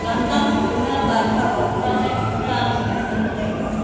lamtang khoma kartha wom cha cha khoma daan cham lah ley tai chaiga.